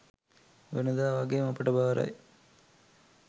වෙනදා වගේම ඔබට බාරයි